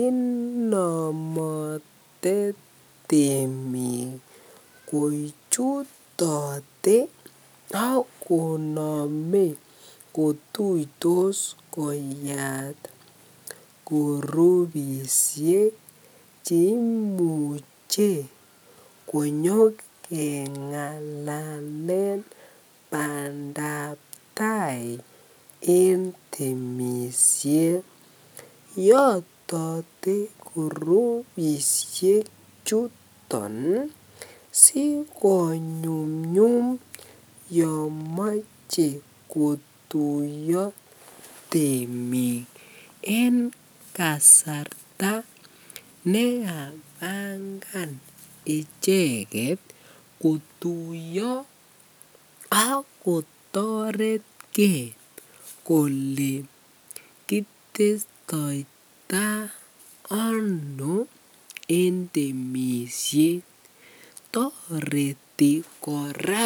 Inomotetemiik kochutote ak konome kotuitos koyaat kurubishek cheimuche konyo kengalalen badab taai en temishet, yotote kurubishe chuton siko nyumnyum yomoche kotuiyo temik en kasarta neykabangan icheket kotuiyo ak kotoretke kolee kitestoita anoo en temishet, toreti kora